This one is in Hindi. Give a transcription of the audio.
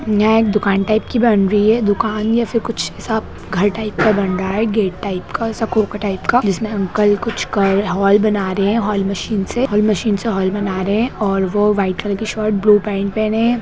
यहाँ एक दुकान टाइप की बन रही है दूकान या फिर ऐसा कुछ साफ घर टाइप का बन रहा है गेट टाइप का स्कोर टाइप का जिसमें अंकल कुछ कर हॉल बना रहे है हॉल मशीन से हॉल मशीन से हॉल बना रहे है और वो वाइट कलर की शर्ट ब्लू पेंट पेहने है।